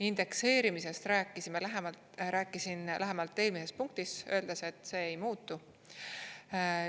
Indekseerimisest rääkisin lähemalt eelmises punktis, öeldes, et see ei muutu.